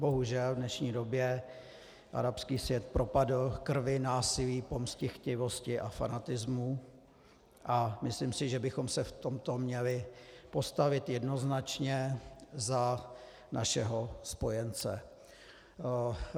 Bohužel, v dnešní době arabský svět propadl krvi, násilí, pomstychtivosti a fanatismu a myslím si, že bychom se v tomto měli postavit jednoznačně za našeho spojence.